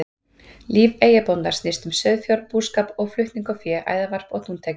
Líf eyjabóndans snýst um sauðfjárbúskap og flutning á fé, æðarvarp og dúntekju.